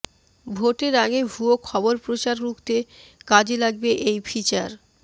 ভোটের আগে ভুয়ো খবর প্রচার রুখতে কাজে লাগবে এই ফিচার